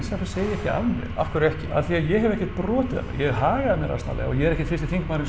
segi ég ekki af mér af hverju ekki af því að ég hef ekkert brotið af mér hef hagað mér asnalega og ég er ekkert fyrsti þingmaðurinn